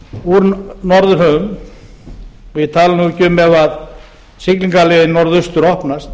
úr norðurhöfum ég tala nú ekki um ef siglingarleiðin norðaustur opnast